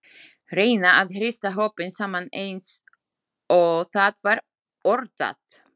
Reyna að hrista hópinn saman eins og það var orðað.